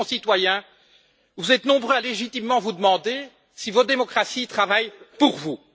Mes chers concitoyens, vous êtes nombreux à légitimement vous demander si votre démocratie travaille pour vous.